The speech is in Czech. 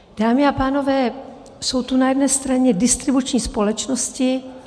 Dámy a pánové, jsou tu na jedné straně distribuční společnosti.